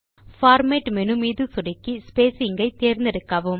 format menu மீது சொடுக்கி spacing ஐ தேர்ந்தெடுக்கவும்